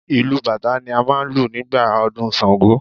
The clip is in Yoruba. Ìlù bàtá ni máà ń lù nígbà ọdún ṣàngó